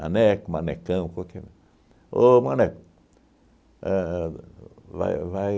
Maneco, manecão, qualquer... Ô, maneco! A vai vai